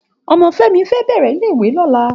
Òmò Femi fè bèrè ilé iwé lòlá